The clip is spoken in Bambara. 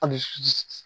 A bɛ